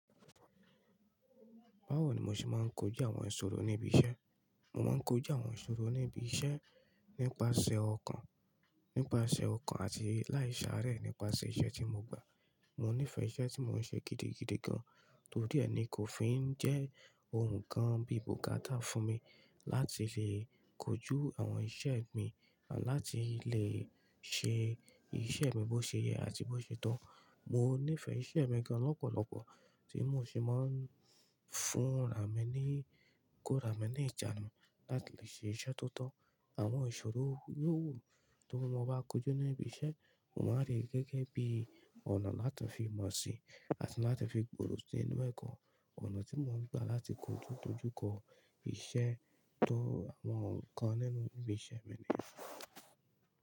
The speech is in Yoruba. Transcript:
Báwo ni mo ṣe máa ń kojú àwọn ìṣòro ní ibi iṣẹ́? Mo máa ń kojú àwọn ìṣòro níbi iṣẹ́ nípasẹ̀ ọkàn, nípasẹ̀ ọkàn àti láì sáré nípasẹ̀ iṣẹ́ tí mo gbà. Mo nífẹ̀ẹ́ iṣẹ́ tí mò ń ṣe gidigidi gan, torí ẹni kò fi ń jẹ́ ohun kan bí ìbò gátà fún mi láti lè kojú àwọn iṣẹ́ mi àti láti lè ṣe iṣẹ́ mi bó ṣe yẹ àti bó ṣe to. Mo nífẹ̀ẹ́ iṣẹ́ mi gan lọ́pọ̀lọpọ̀ tí mò ṣe máa ń fún ra mi ní, kó ra mi ní ìjánu láti lè ṣe iṣẹ́ tó tọ́. Àwọn ìṣòro yò wù tí mo bá kojú ní ibi iṣẹ́, mo máa rí gẹ́gẹ́ bí ọ̀nà láti fi mọ̀ síi àti láti fi gbòòrò sí inú ẹ̀kọ́. Ọ̀nà tí mo ń gbà láti kojú tójú kọ iṣẹ́ tó àwọn n kan nínú ibi iṣẹ́ mi ni.